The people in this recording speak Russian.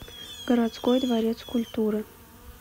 городской дворец культуры